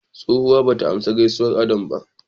Tsohuwa bata amsa gaisuwar Adam ba.